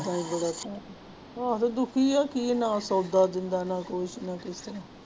ਆਹੋ ਦੁੱਖੀ ਹੈ ਕੀ ਨਾ ਸੌਦਾ ਦਿੰਦਾ ਨਾ ਕੁਛ ਨਾ ਕੁਛ।